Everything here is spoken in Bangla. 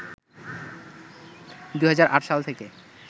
২০০৮ সাল থেকে